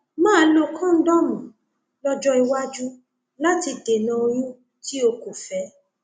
máa lo kóńdọọmù lọjọ iwájú láti dènà oyún tí o kò fẹ